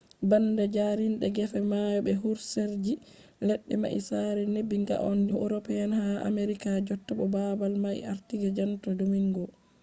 banda jarinde gefe mayo be husereji ledde mai sare nebin ga on je european ha americas jotta bo babal mai warti je santo domingo